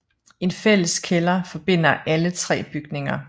En fælles kælder forbinder alle tre bygninger